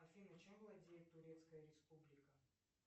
афина чем владеет турецкая республика